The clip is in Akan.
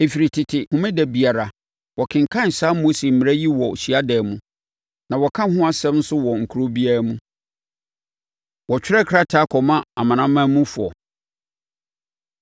Ɛfiri tete, Homeda biara, wɔkenkan saa Mose mmara yi wɔ hyiadan mu, na wɔka ɛho nsɛm nso wɔ kuro biara mu.” Wɔtwerɛ Krataa Kɔma Amanamanmufoɔ